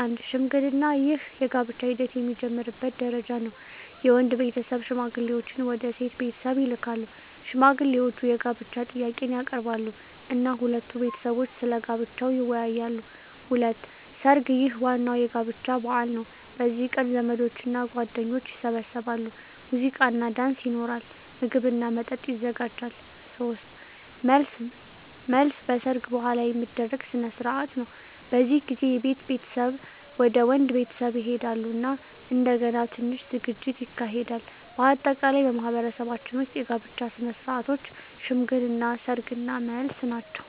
1. ሽምግልና ይህ የጋብቻ ሂደት የሚጀምርበት ደረጃ ነው። የወንድ ቤተሰብ ሽማግሌዎችን ወደ ሴት ቤተሰብ ይልካሉ። ሽማግሌዎቹ የጋብቻ ጥያቄን ያቀርባሉ እና ሁለቱ ቤተሰቦች ስለ ጋብቻው ይወያያሉ። 2. ሰርግ ይህ ዋናው የጋብቻ በዓል ነው። በዚህ ቀን ዘመዶችና ጓደኞች ይሰበሰባሉ፣ ሙዚቃና ዳንስ ይኖራል፣ ምግብና መጠጥ ይዘጋጃል። 3. መልስ መልስ በሰርግ በኋላ የሚደረግ ሥነ ሥርዓት ነው። በዚህ ጊዜ የሴት ቤተሰብ ወደ ወንድ ቤተሰብ ይሄዳሉ እና እንደገና ትንሽ ዝግጅት ይካሄዳል። በአጠቃላይ በማኅበረሰባችን ውስጥ የጋብቻ ሥነ ሥርዓቶች ሽምግልና፣ ሰርግ እና መልስ ናቸው።